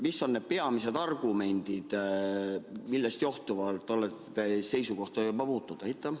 Mis on need peamised argumendid, millest johtuvalt olete seisukohta muutnud?